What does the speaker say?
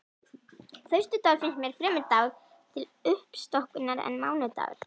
Föstudagur finnst mér fremur dagur til uppstokkunar en mánudagur.